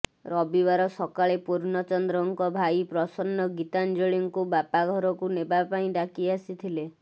ରବିବାର ସକାଳେ ପୂର୍ଣ୍ଣଚନ୍ଦ୍ରଙ୍କ ଭାଇ ପ୍ରସନ୍ନ ଗୀତାଞ୍ଜଳୀଙ୍କୁ ବାପାଘରକୁ ନେବା ପାଇଁ ଡାକି ଆସିଥିଲେ